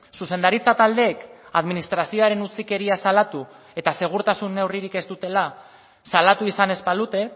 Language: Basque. zuzendaritza taldeek administrazioaren utzikeria salatu eta segurtasun neurririk ez dutela salatu izan ez balute